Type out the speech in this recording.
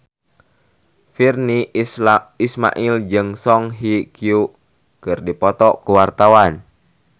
Virnie Ismail jeung Song Hye Kyo keur dipoto ku wartawan